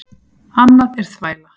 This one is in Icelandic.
Annað er þvæla.